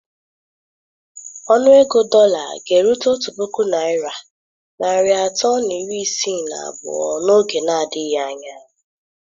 Ọnụ ego dọla ga-erute otu puku naira narị atọ na iri isii na abụọ n'oge adịghị anya.